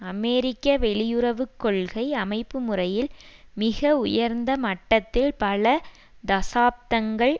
அமெரிக்க வெளியுறவு கொள்கை அமைப்புமுறையில் மிக உயர்ந்த மட்டத்தில் பல தசாப்தங்கள்